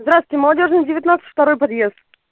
здравствуйте молодёжная девятнадцать второй подъезд